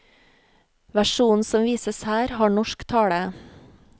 Versjonen som vises her har norsk tale.